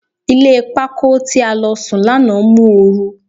Ilé pákó tí a lọ sùn lánàá mú oru.